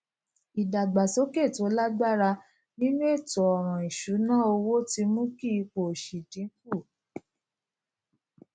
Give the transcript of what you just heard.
ìdàgbàsókè tó lágbára nínú ètò ọràn ìṣúnná owó ti mú kí ipò òṣì dín kù